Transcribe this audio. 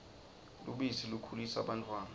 lubisi likhulisa bantfwana